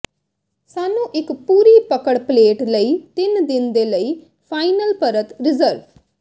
ਸਾਨੂੰ ਇੱਕ ਪੂਰੀ ਪਕੜ ਪਲੇਟ ਲਈ ਤਿੰਨ ਦਿਨ ਦੇ ਲਈ ਫਾਈਨਲ ਪਰਤ ਰਿਜ਼ਰਵ